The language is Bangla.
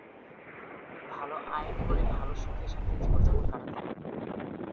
ভালো আয় করে ভালো সুখে সাথে জীবনযাপন কাটাতে পারে